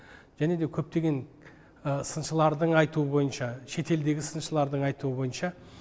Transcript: және де көптеген сыншылардың айтуы бойынша шетелдегі сыншылардың айтуы бойынша